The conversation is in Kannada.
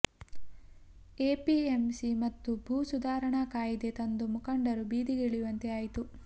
ಎಪಿಎಂಸಿ ಮತ್ತು ಭೂ ಸುಧಾರಣಾ ಕಾಯಿದೆ ತಂದು ಮುಖಂಡರು ಬೀದಿಗೆ ಇಳಿಯುವಂತೆ ಆಯಿತು